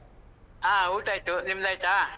ಹಾ. ಊಟ ಆಯ್ತು, ನಿಮ್ದಾಯ್ತ?